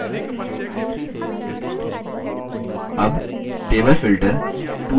अब table filter table filter tools menu में उपलब्ध है